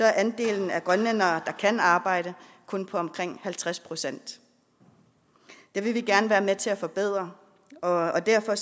er andelen af grønlændere blandt der kan arbejde kun på omkring halvtreds procent det vil vi gerne være med til at forbedre og derfor